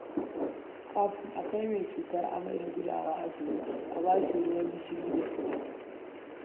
Kafin a kai mai cutar amai da gudawa asibiti, a ba shi ruwan gishiri da sukari